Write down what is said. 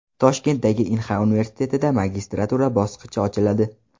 Toshkentdagi Inha universitetida magistratura bosqichi ochiladi.